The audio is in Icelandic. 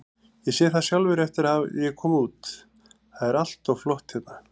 Ég sé það sjálfur eftir að ég kom út, það er allt flott hérna.